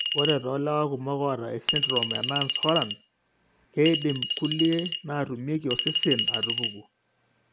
Ore toolewa kumok oata esindirom eNance Horan, keidim kulie naatumieki osesen aatupuku.